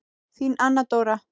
Þín Anna Dóra.